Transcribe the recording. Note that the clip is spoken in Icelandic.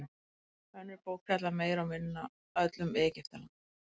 önnur bók fjallar meira og minna öll um egyptaland